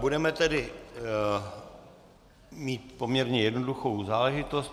Budeme tedy mít poměrně jednoduchou záležitost.